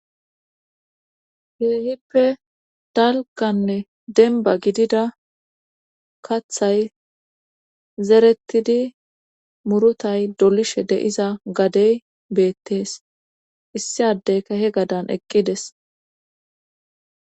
heehippe dalganne denba gidida kathay zerettidi murutay dolishe deiza gadey beettees issi adey kahe gadan eqqides